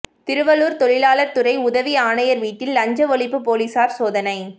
திருவள்ளூா் தொழிலாளா் துறை உதவி ஆணையா் வீட்டில் லஞ்ச ஒழிப்பு போலீஸாா் சோதனை